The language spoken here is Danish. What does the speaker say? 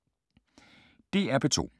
DR P2